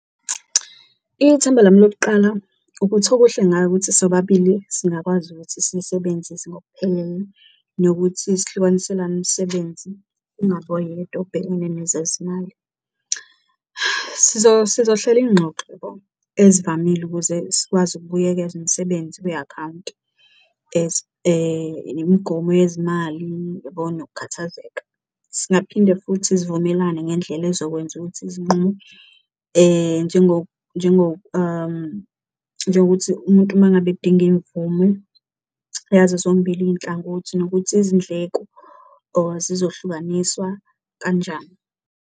Ithemba lami lokuqala ukuthi okuhle ngayo ukuthi sobabili singakwazi ukuthi siyisebenzise ngokuphelele nokuthi sihlukaniselane umsebenzi kungabi oyedwa obhekene nezezimali. Sizohlela izingxoxo ezivamile ukuze sikwazi ukubuyeka umisebenzi kwi-akhawunti imigomo yezimali, uyabo nokukhathazeka? Singaphinde futhi sivumelane ngendlela ezokwenza ukuthi izinqumo njengokuthi umuntu uma ngabe edinga imvumo yazo zombili iy'nhlangothi nokuthi izindleko zizohlukaniswa kanjani.